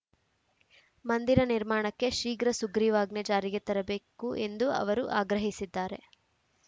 ಮಂದಿರ ನಿರ್ಮಾಣಕ್ಕೆ ಶೀಘ್ರ ಸುಗ್ರೀವಾಜ್ಞೆ ಜಾರಿಗೆ ತರಬೇಕು ಎಂದು ಅವರು ಆಗ್ರಹಿಸಿದ್ದಾರೆ